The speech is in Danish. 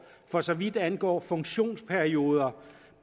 for så vidt angår funktionsperioder